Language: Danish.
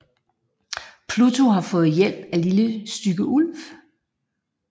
Pluto har fået hjælp af Lille Stygge Ulv